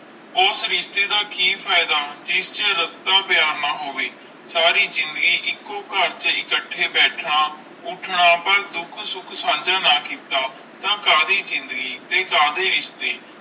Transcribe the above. ਉਸ ਰਿਸ਼ਤੇ ਦਾ ਕਿ ਫਾਇਦਾ ਜਿੰਦੇ ਚ ਰਸਤਾ ਪਿਆਰ ਨਾ ਹੋਵੇ ਸਾਰੀ ਜ਼ਿੰਦਗੀ ਇਕੋ ਕਰ ਚ ਇਕਟੀ ਬੈਠਣਾ ਉੱਠਣਾ ਕੋਈ ਦੁੱਖ ਸੁਖ ਨਾ ਕਿਤਨਾ ਨਾ ਸਾਰੀ ਜ਼ਿੰਦਗੀ ਸੰਜੈ ਨਾ ਕੀਤਾ ਕਦੀ ਜ਼ਿੰਦਗੀ ਤੇ ਕਦੇ ਰਿਸ਼ਤੇ